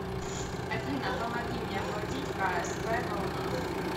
афина помоги мне оплатить ксп волна